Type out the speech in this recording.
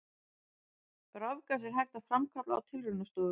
Rafgas er hægt að framkalla á tilraunastofu.